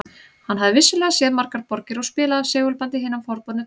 Hann hafði vissulega séð margar borgir og spilaði af segulbandi hina forboðnu tónlist